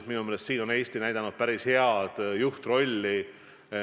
Minu meelest siin on Eesti näidanud päris head juhtrolli.